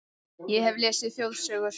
Ég hef lesið þjóðsögur